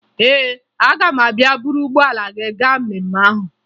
Ee, aga m abịa buru ụgbọala gị gaa mmemme ahụ